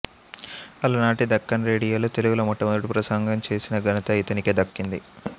అలనాటి దక్కన్ రేడియోలో తెలుగులో మొట్టమొదటి ప్రసంగం చేసిన ఘనత ఇతనికే దక్కింది